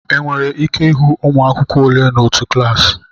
Enwere ike ịhụ ụmụ akwụkwọ ole n'otu klaasị